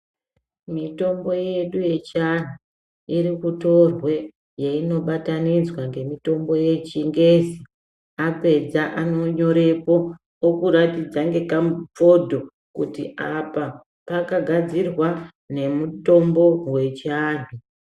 Mitombo yedu yechiantu, iri kutorwe yeinobatanidzwa ngemitombo yechingezi, apedza anonyorepo ,okuratidza ngekamufodho kuti apa pakagadzirwa nemutombo wechiantu.